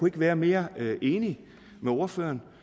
ikke være mere enig med ordføreren